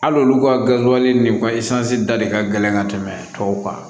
Hali olu ka garibuyali ni u ka da de ka gɛlɛn ka tɛmɛ tɔw kan